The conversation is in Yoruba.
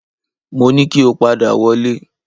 Mo ní kí o padà wọlé